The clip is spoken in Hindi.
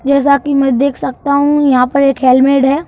जैसा कि मैं देख सकता हूं यहाँ पर एक हेलमेट है।